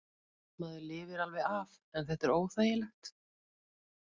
Maður lifir alveg af en þetta er óþægilegt.